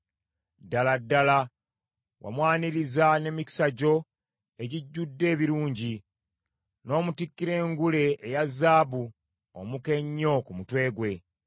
Ddala ddala wamwaniriza n’emikisa gyo egijjudde ebirungi, n’omutikkira engule eya zaabu omuka ennyo ku mutwe gwe.